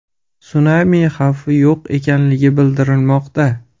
Sunami xavfi yo‘q ekanligi bildirilmoqda.